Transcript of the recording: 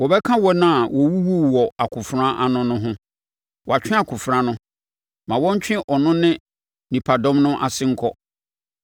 Wɔbɛka wɔn a wɔwuwuu wɔ akofena ano no ho. Wɔatwe akofena no, ma wɔntwe ɔno ne nipadɔm no ase nkɔ.